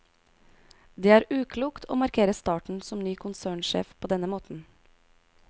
Det er uklokt å markere starten som ny konsernsjef på denne måten.